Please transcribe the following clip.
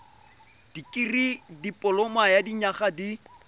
dikirii dipoloma ya dinyaga di